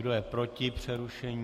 Kdo je proti přerušení?